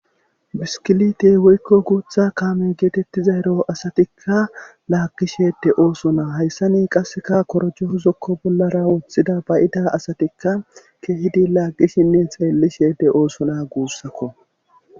Biskilite woykko guutha kaame geetettizayro asatikka laagishede oosona hayssani qasseka korjo huzokko bollara woththida bayida asatikka keehidi laagishinne xeellishede oosona guussakko